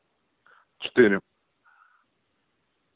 четыре